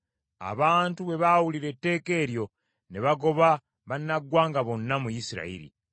Abantu bwe baawulira etteeka eryo, ne bagoba bannaggwanga bonna mu Isirayiri.